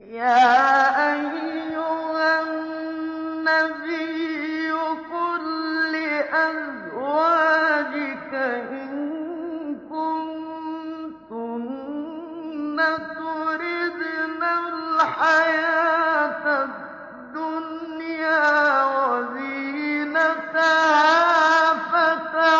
يَا أَيُّهَا النَّبِيُّ قُل لِّأَزْوَاجِكَ إِن كُنتُنَّ تُرِدْنَ الْحَيَاةَ الدُّنْيَا وَزِينَتَهَا فَتَعَالَيْنَ